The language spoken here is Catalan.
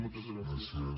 moltes gràcies